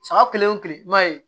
Saga kelen o kile m'a ye